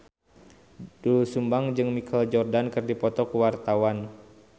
Doel Sumbang jeung Michael Jordan keur dipoto ku wartawan